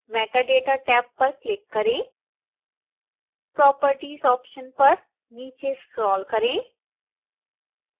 metadata टैब पर क्लिक करेंproperties ऑप्शन पर नीचे स्क्रोल करें